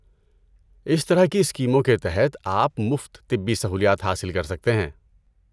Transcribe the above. اس طرح کی اسکیموں کے تحت آپ مفت طبی سہولیات حاصل کر سکتے ہیں۔